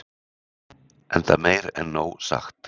enda meir en nóg sagt